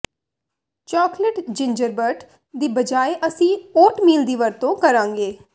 chocolate gingerbread ਦੀ ਬਜਾਏ ਅਸੀਂ ਓਟਮੀਲ ਦੀ ਵਰਤੋਂ ਕਰਾਂਗੇ